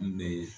N bɛ